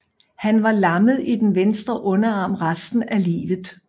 Han var lammet i den venstre underarm resten af livet